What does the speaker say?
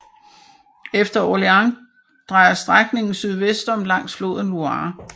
Efter Orléans drejer strækningen sydvestom langs floden Loire